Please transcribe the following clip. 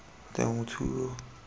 temothuo